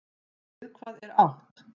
Við hvað er þá átt?